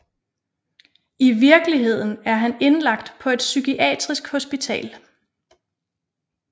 I virkeligheden er han indlagt på et psykiatrisk hospital